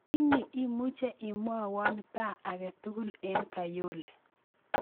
Ini imuche imwawon paa agetugul en kayole